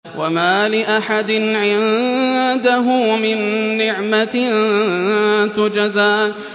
وَمَا لِأَحَدٍ عِندَهُ مِن نِّعْمَةٍ تُجْزَىٰ